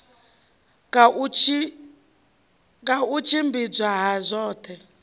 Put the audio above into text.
ka u tshimbidzwa ha zwoṱhe